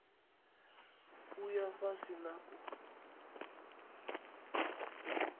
u ya fhasi na u